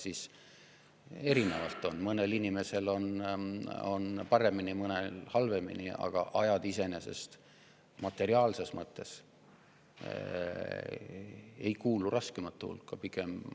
See on erinev: mõnel inimesel läheb paremini, mõnel halvemini, aga ajad iseenesest materiaalses mõttes ei kuulu raskemate hulka.